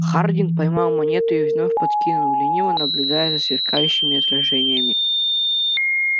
хардин поймал монету и вновь подкинул лениво наблюдая за сверкающими отражениями